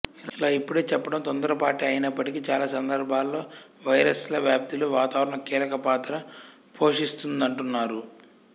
ఇలా ఇప్పుడే చెప్పడం తొందరపాటే అయినప్పటికీ చాలా సందర్భాల్లో వైరస్ల వ్యాప్తిలో వాతావరణం కీలక పాత్ర పోషిస్తుందంటున్నారు